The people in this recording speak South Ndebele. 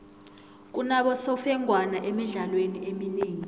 kunabosemfengwana emidlalweni eminengi